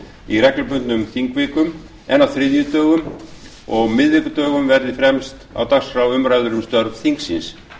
í reglubundnum þingvikum en á þriðjudögum og miðvikudögum verði fremst á dagskrá umræður um störf þingsins